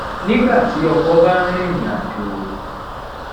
nígbà tí ọkọ bá ń rìnrìn àjò